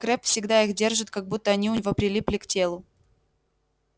крэбб всегда их держит как будто они у него прилипли к телу